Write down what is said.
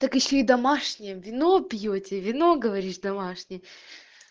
так ещё и домашнее вино пьёте вино говоришь домашнее